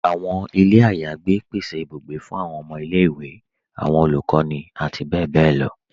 Awọn ilẹ̀ ayégbẹ̀ pèsè ìbùgbẹ̀ fún awọn ọmọ ilẹ̀-iwe, awọn olukọni, àti bẹbẹ̀ lọ